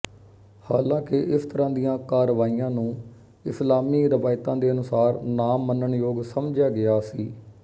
ਹਾਲਾਂਕਿ ਇਸ ਤਰ੍ਹਾਂ ਦੀਆਂ ਕਾਰਵਾਈਆਂ ਨੂੰ ਇਸਲਾਮੀ ਰਵਾਇਤਾਂ ਦੇ ਅਨੁਸਾਰ ਨਾ ਮੰਨਣਯੋਗ ਸਮਝਿਆ ਗਿਆ ਸੀ